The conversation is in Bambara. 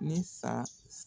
Ni saa